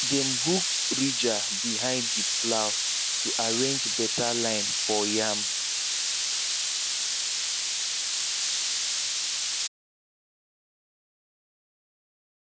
dem hook ridger behind the plow to arrange better line for yam